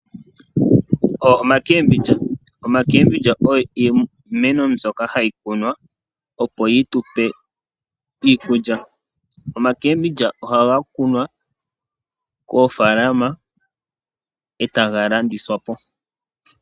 Ombonga yushimba, ombanga yushimba oyo iimeno mbyoka hayikunwa opo yitupe iikulya, ombonga yushimba ohayi kunwa koofalama ota yi landithwa po.